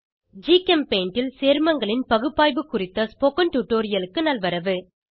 ஜிகெம்பெய்ண்ட் ல் சேர்மங்களின் பகுப்பாய்வு குறித்த ஸ்போகன் டுடோரியலுக்கு நல்வரவு